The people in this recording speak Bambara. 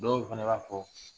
Dɔw fɛnɛ b'a fɔ